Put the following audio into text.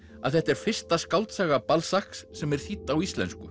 að þetta er fyrsta skáldsaga sem er þýdd á íslensku